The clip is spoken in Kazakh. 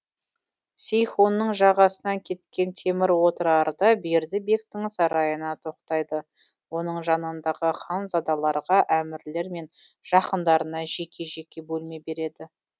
сейхунның жағасынан кеткен темір отырарда берді бектің сарайына тоқтайды оның жанындағы ханзадаларға әмірлер мен жақындарына жеке жеке бөлме береді